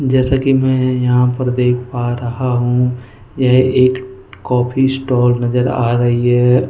जैसा कि मैं यहां पर देख पा रहा हूं यह एक कॉफि स्टॉल नजर आ रही है।